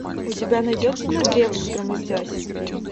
у тебя найдется на древо взгромоздясь